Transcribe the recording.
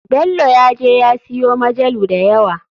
Belo ya je ya siyo majalu dayawa.